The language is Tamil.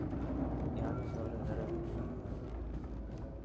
யானையைத் தவிர வேற எதுக்கும் முடியாது